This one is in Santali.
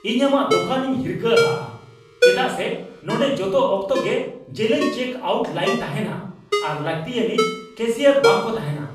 ᱤᱧ ᱟᱢᱟᱜ ᱫᱳᱠᱟᱱ ᱤᱧ ᱦᱤᱠᱷᱟᱹ ᱦᱟᱜᱼᱟ ᱪᱮᱫᱟᱜ ᱥᱮ ᱱᱚᱸᱰᱮ ᱡᱚᱛᱚ ᱚᱠᱛᱚ ᱜᱮ ᱡᱮᱞᱮᱧ ᱪᱮᱠ ᱟᱣᱩᱴ ᱞᱟᱭᱤᱱ ᱛᱟᱦᱮᱱᱟ ᱟᱨ ᱞᱟᱹᱠᱛᱤᱭᱟᱱᱤᱡ ᱠᱮᱥᱤᱭᱟᱨ ᱵᱟᱝᱠᱚ ᱛᱟᱦᱮᱱᱟ ᱾